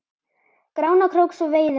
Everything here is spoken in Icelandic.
Grána krók svo veiði með.